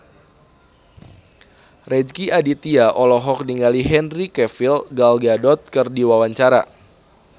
Rezky Aditya olohok ningali Henry Cavill Gal Gadot keur diwawancara